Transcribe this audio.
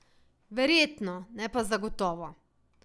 Verjetno, ne pa zagotovo.